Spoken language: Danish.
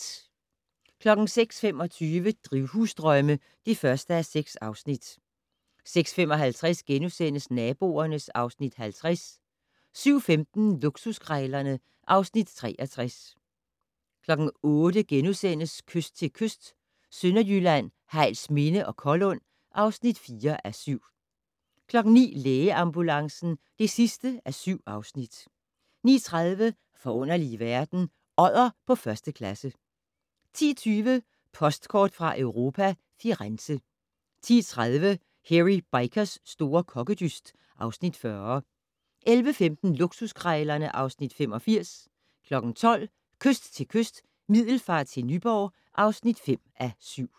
06:25: Drivhusdrømme (1:6) 06:55: Naboerne (Afs. 50)* 07:15: Luksuskrejlerne (Afs. 63) 08:00: Kyst til kyst - Sønderjylland, Hejlsminde til Kollund (4:7)* 09:00: Lægeambulancen (7:7) 09:30: Forunderlige verden - Odder på første klasse 10:20: Postkort fra Europa: Firenze 10:30: Hairy Bikers' store kokkedyst (Afs. 40) 11:15: Luksuskrejlerne (Afs. 85) 12:00: Kyst til kyst - Middelfart til Nyborg (5:7)